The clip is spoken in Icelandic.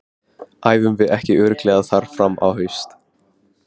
Æfum við ekki örugglega þar fram á haust?